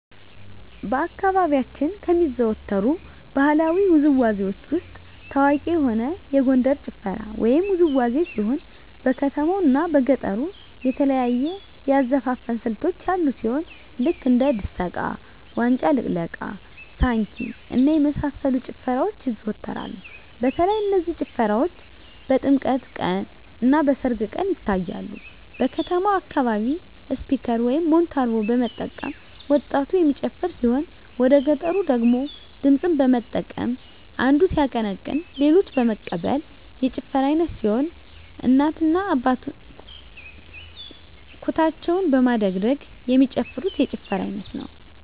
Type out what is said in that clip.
በአካባቢያችን ከሚዘወተሩ ባህለዊ ውዝዋዜዎች ውስጥ ታዋቂ የሆነ የጎንደር ጭፈራ ወይም ውዝዋዜ ሲሆን በከተማው እና በገጠሩ የተለያዩ የአዘፋፈን ስልቶች ያሉ ሲሆን ልክ እንደ ድሰቃ; ዋጫ ልቅለቃ; ሳንኪ እና የመሳሰሉት ጭፈራዎች ይዘዎተራሉ በተለይ እነዚህ ጭፈራዎች በጥምቀት ቀን; እና በሰርግ ቀን ይታያሉ። በከተማው አካባቢ ስፒከር (ሞንታርቦ) በመጠቀም ወጣቱ የሚጨፍር ሲሆን ወደገጠሩ ደግሞ ድምፅን በመጠቀም አንዱ ሲያቀነቅን ሌሎች በመቀበል የጭፈራ አይነት ሲሆን እናቶ እና አባቶች ኩታቸውን በማደግደግ የሚጨፍሩት የጭፈራ አይነት ነው።